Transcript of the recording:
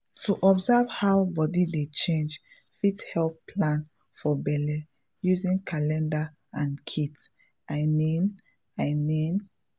to observe how body dey change fit help plan for belle using calendar and kit — i mean i mean!